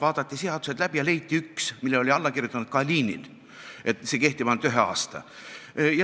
Vaadati seadused läbi ja leiti üks, millele oli alla kirjutanud Kalinin, kinnitades, et see kehtib ainult ühe aasta.